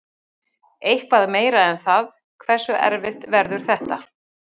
Eitthvað meira en það, hversu erfitt verður þetta?